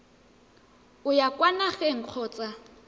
o ya kwa nageng kgotsa